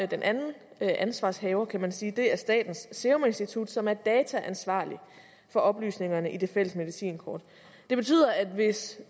den anden ansvarshaver kan man sige er statens serum institut som er dataansvarlig for oplysningerne i det fælles medicinkort det betyder at hvis